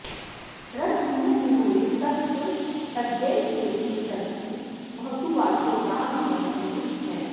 रसविमुखनिगूढे तत्र तज्ञैकवेद्ये सरसि भवतु वासो दाननिर्वर्तने नः